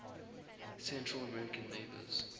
central american neighbors